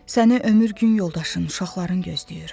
Səni ömür gün yoldaşın, uşaqların gözləyir.